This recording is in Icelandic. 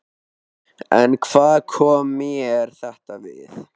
En hvað kom mér þetta við?